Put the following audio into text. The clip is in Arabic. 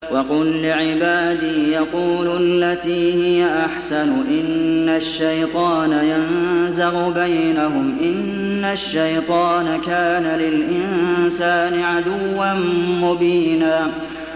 وَقُل لِّعِبَادِي يَقُولُوا الَّتِي هِيَ أَحْسَنُ ۚ إِنَّ الشَّيْطَانَ يَنزَغُ بَيْنَهُمْ ۚ إِنَّ الشَّيْطَانَ كَانَ لِلْإِنسَانِ عَدُوًّا مُّبِينًا